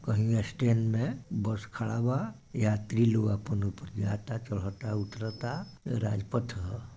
कही स्टैन्ड मे बस खड़ा बा यात्री लोग अपन ऊपर जाता चढ़ता उतरता राजपथ ह।